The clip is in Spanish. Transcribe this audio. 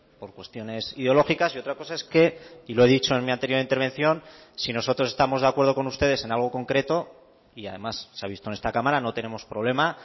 por cuestiones ideológicas y otra cosa es que y lo he dicho en mi anterior intervención si nosotros estamos de acuerdo con ustedes en algo concreto y además se ha visto en esta cámara no tenemos problema